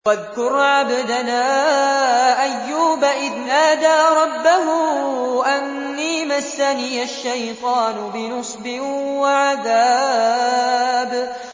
وَاذْكُرْ عَبْدَنَا أَيُّوبَ إِذْ نَادَىٰ رَبَّهُ أَنِّي مَسَّنِيَ الشَّيْطَانُ بِنُصْبٍ وَعَذَابٍ